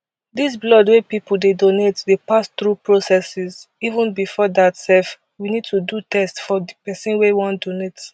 dis blood wey pipo dey donate dey pass thru processes even bifor dat sef we need to do tests for di pesin wey wan donate